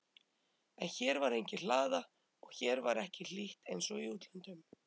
En hér var engin hlaða og hér var ekki hlýtt einsog í útlöndum.